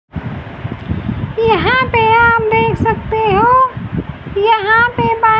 यहां पे आप देख सकते हो यहां पे बा--